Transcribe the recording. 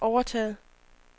overtaget